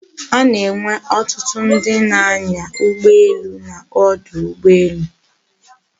A na-enwe otutu ndi na-anya ugboelu n'odu ugboelu